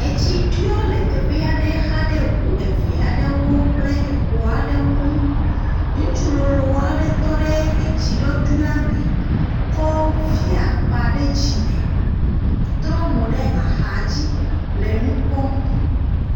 Etsi ɖɔ le teƒe aɖe xa ɖe ŋu eve aɖewo kple xɔ aɖewo ŋu, ŋutsu lolo aɖe tɔ ɖe etsi la me kɔ via kpa ɖe dzime trɔ mo ɖe axadzi le nu kpɔm.